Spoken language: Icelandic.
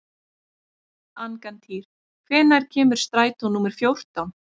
Angantýr, hvenær kemur strætó númer fjórtán?